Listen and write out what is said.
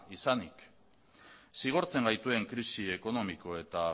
izanik zigortzen gaituen krisi ekonomiko eta